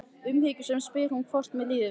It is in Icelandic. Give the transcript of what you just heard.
Umhyggjusöm spyr hún hvort mér líði illa.